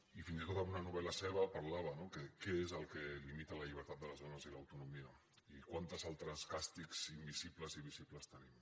i fins i tot en una novel·la seva en parlava no què és el que limita la llibertat de les dones i l’autonomia i quants altres càstigs invisibles i visibles tenim